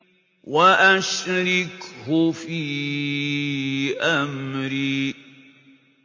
وَأَشْرِكْهُ فِي أَمْرِي